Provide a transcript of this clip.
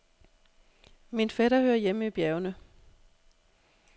Min fætter hører hjemme i bjergene.